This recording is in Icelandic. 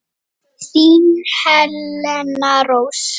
Þín Helena Rós.